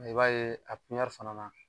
I b'a ye a piɲɛri fana na